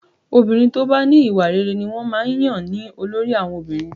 Obìnrin tó bá ní ìwà rere ni wọ́n máa ń yàn ní olórí àwọn obìnrin